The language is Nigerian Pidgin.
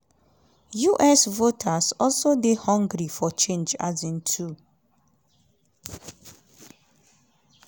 us voters also dey hungry for change um too.